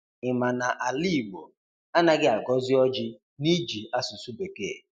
Ị ma na ala igbọ, anaghị agọzi ọjị n’ịjị asụsụ bekee?